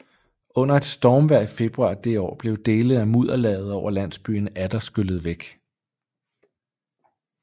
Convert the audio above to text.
Under et stormvejr i februar det år blev dele af mudderlaget over landsbyen atter skyllet væk